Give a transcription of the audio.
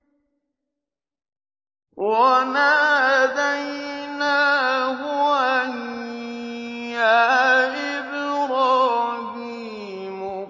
وَنَادَيْنَاهُ أَن يَا إِبْرَاهِيمُ